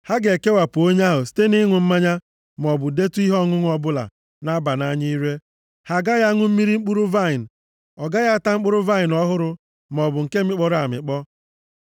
ha ga-ekewapụ onwe ha site na ịṅụ mmanya, maọbụ detụ ihe ọṅụṅụ ọbụla na-aba nʼanya ire. Ha agaghị aṅụ mmiri mkpụrụ vaịnị, ọ gaghị ata mkpụrụ vaịnị ọhụrụ maọbụ nke a mịkpọrọ amịkpọ.